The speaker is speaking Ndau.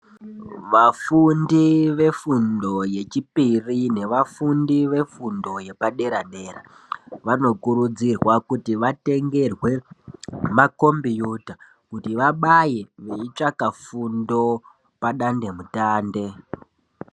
Vafundi vefundo yechipiri nevafundi vefundo yechitatu vanokurudzirwa kuti makombiyuta kuti vabaye veitsvake fundo padande mitande.